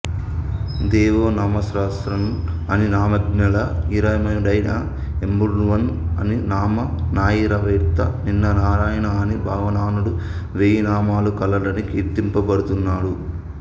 దేవో నామసహస్రవాన్ అనినామజ్ఞ్జళా యిరముడైయ ఎమ్బెరుమాన్ అనినామనాయిరమేత్త నిన్ననాయణ అని భగవానుడు వేయినామాలు కలవాడని కీర్తింపబడు తున్నాడు